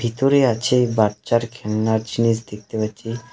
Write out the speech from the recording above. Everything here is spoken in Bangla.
ভিতরে আছে বাচ্চার খেলনার জিনিস দেখতে পাচ্ছি।